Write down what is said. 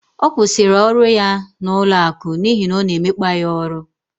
Ọ kwụsịrị ọrụ ya n'ụlọaku n'ihi ọ na emekpa ya ọrụ